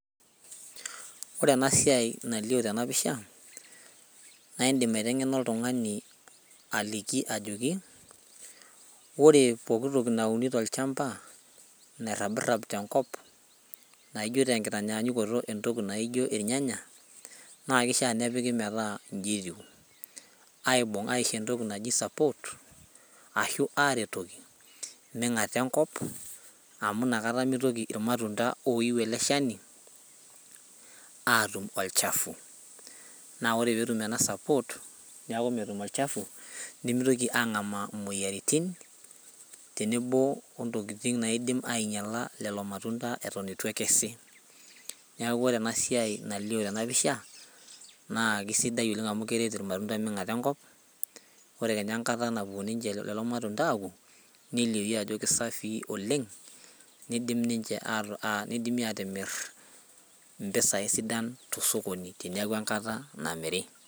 Ore ena siai nalio tena pisha, naa indim aitengena oltungani aliki ore pooki toki nauni tolchampa nairabirab tenkop naijo tenkitanyaanyukoto irnyanya, na keishaa nepikita metaa inji etiu, aibung aisho entoki naji support aretoki ming'ata enkop amu inakata mitoki irmatunda oiyu ele shani atum olchafu. Naa ore pee etum ena support neeku metum olchafu nemitoki angamaa moyiaritin tenebo wentoki naaidim ainyala lelo matunda eton eitu ekesi .neeku ore ena siai nalio tena pisha naa keisidai oleng amu keret irmatunda mingata enkop ore kenya enkata napuo ninche lelo matunda aaku nelioyu ajo kisafii oleng nidimi atimira iropiyiani sidan tosokoni teneeku enkata namiri.